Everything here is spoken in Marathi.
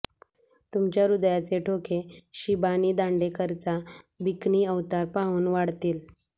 तुमच्या हृदयाचे ठोके शिबानी दांडेकरचा बिकनी अवतार पाहून वाढतील